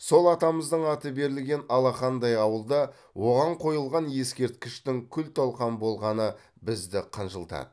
сол атамыздың аты берілген алақандай ауылда оған қойылған ескерткіштің күл талқан болғаны бізді қынжылтады